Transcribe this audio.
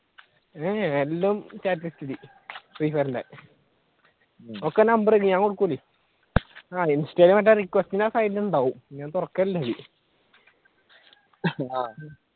എന്റെ chat ലിസ്റ്റിൽ ഫ്രീഫയറിന്റെ ഒക്കെ number ഉണ്ട് ഞാൻ കൊടുക്കില്ലെന് ആഹ് ഇൻസ്റ്റേൽ മറ്റേ സൈഡിലുണ്ടാവും തുറക്കലില്ല അതിൽ